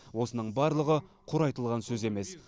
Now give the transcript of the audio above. осының барлығы құр айтылған сөз емес